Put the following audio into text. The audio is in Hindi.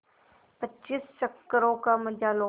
पच्चीस चक्करों का मजा लो